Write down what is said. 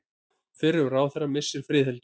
Fyrrum ráðherra missir friðhelgi